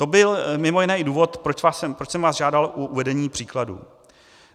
To byl mimo jiné i důvod, proč jsem vás žádal o uvedení příkladů.